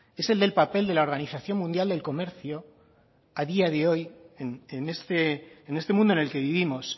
es el del papel de la organización mundial del comercio a día de hoy en este mundo en el que vivimos